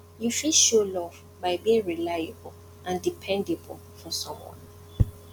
you fit show love by being reliable and dependable for someone